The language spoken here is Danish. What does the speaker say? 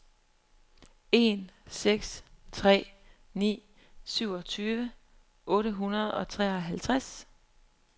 en seks tre ni syvogtyve otte hundrede og treoghalvtreds